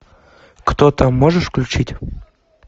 кто там можешь включить